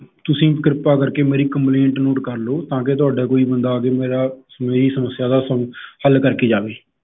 ਤੁਸੀਂ ਕਿਰਪਾ ਕਰ ਕੇ ਮੇਰੀ complaint note ਕਰ ਲਓ ਤਾਂ ਕੇ ਤੁਹਾਡਾ ਕੋਈ ਬੰਦਾ ਆ ਕੇ ਮੇਰਾ ਮੇਰੀ ਸਮੱਸਿਆ ਦਾ ਹੱਲ ਕਰ ਕੇ ਜਾਵੇ।